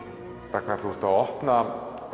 Ragnar þú ert að opna í